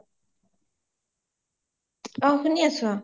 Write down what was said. অ শুনি আছো